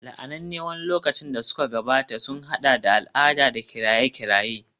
La'ananne wani lokaci da suka gabata sun haɗa da al'ada da kiraye-kirayen